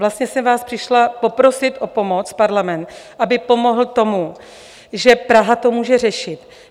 Vlastně jsem vás přišla poprosit o pomoc, parlament, aby pomohl tomu, že Praha to může řešit.